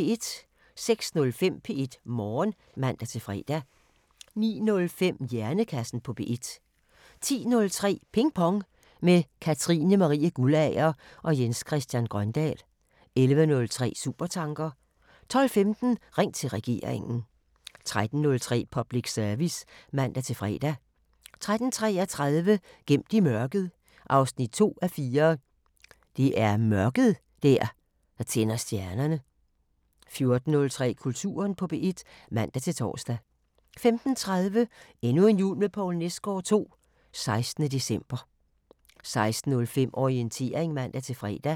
06:05: P1 Morgen (man-fre) 09:05: Hjernekassen på P1 10:03: Ping Pong – med Katrine Marie Guldager og Jens Christian Grøndahl 11:03: Supertanker 12:15: Ring til Regeringen 13:03: Public Service (man-fre) 13:33: Gemt i mørket 2:4 – Det er mørket der tænder stjernerne 14:03: Kulturen på P1 (man-tor) 15:30: Endnu en jul med Poul Nesgaard II – 16. december 16:05: Orientering (man-fre)